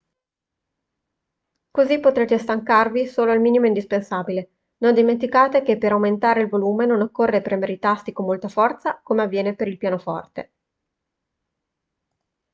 così potrete stancarvi solo il minimo indispensabile non dimenticate che per aumentare il volume non occorre premere i tasti con molta forza come avviene per il pianoforte